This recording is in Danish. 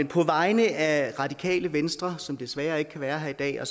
på vegne af radikale venstre som desværre ikke kan være her i dag og